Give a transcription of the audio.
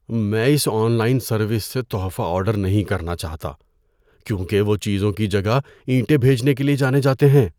میں اس online service سے تحفہ آرڈر نہیں کرنا چاہتا کیونکہ وہ چیزوں کی جگہ اینٹیں بھیجنے کے لیے جانے جاتے ہیں۔